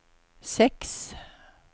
seks